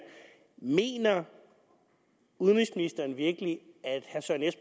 mener udenrigsministeren virkelig